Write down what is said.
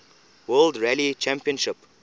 world rally championship